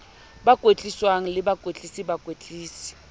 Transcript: ba kwetliswang le bakwetlisi bakwetlisi